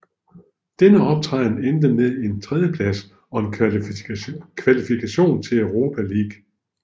Denne optræden endte med en tredjeplads og kvalifikation til Europa League